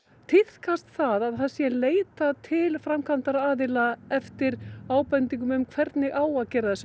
tíðkast það að það sé leitað til framkvæmdaraðila eftir ábendingum um hvernig á að gera